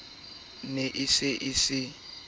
ne a se a se